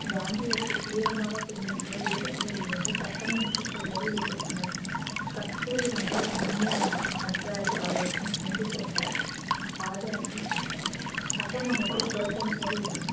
காந்தியத்தை தீவிரமாக பின்பற்ற வேறு சிலர் இணைந்து சட்டமன்றத்திற்கு செல்வதை எதிர்த்தனர் கஸ்தூரிரங்க அன்சாரி ஆகியோருடன் சேர்ந்து கொண்ட ராஜாஜி சட்டமன்றத்தை புறக்கணிப்பது என்னும்